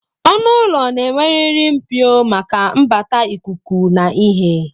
Ọnụụlọ na-enweriri Mpio maka mbata ikuku na ihe